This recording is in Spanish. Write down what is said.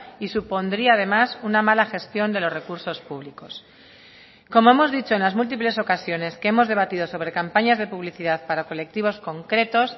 y supondría además una mala gestión de los recursos públicos como hemos dicho en las múltiples ocasiones que hemos debatido sobre campañas de publicidad para colectivos concretos